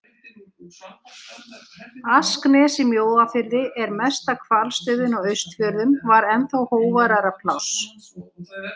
Asknes í Mjóafirði, mesta hvalstöðin á Austfjörðum, var ennþá hógværara pláss.